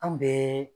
An bɛɛ